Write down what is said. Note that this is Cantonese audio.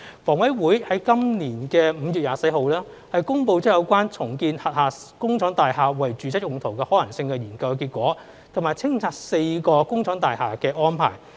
房委會在今年5月24日，公布有關重建轄下工廠大廈為住宅用途的可行性研究結果，以及清拆4幢工廠大廈的安排。